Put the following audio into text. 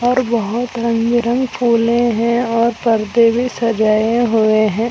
और बहोत रंग बिरंग फूलें हैं और परदे भी सजाये हुए हैं।